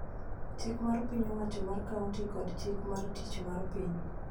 chik mar piny owacho mar kaonti, kod chik mar tich mar piny